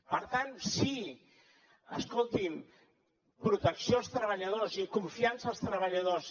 per tant sí escolti’m protecció als treballadors i confiança als treballadors